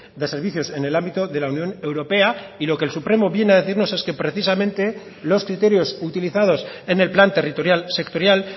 de servicios en el ámbito de la unión europea y lo que el supremo viene a decirnos es que precisamente los criterios utilizados en el plan territorial sectorial